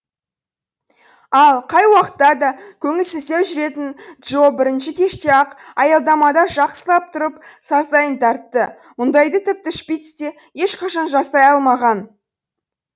ал қай уақытта да көңілсіздеу жүретін джо бірінші кеште ақ аялдамада жақсылап тұрып сазайын тартты мұндайды тіпті шпиц те ешқашан жасай алмаған